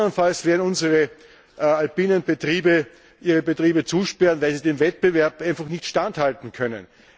Anderenfalls werden unsere alpinen Betriebe ihre Betriebe zusperren, weil sie dem Wettbewerb einfach nicht standhalten können.